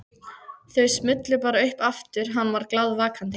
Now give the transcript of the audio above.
Þau smullu bara upp aftur hann var glaðvakandi.